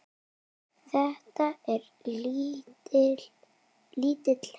Þetta er lítill heimur!